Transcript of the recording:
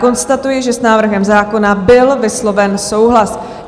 Konstatuji, že s návrhem zákona byl vysloven souhlas.